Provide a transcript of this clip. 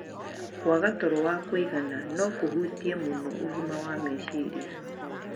Kwaga toro wa kũigana no kũhutie mũno ũgima wa meciria.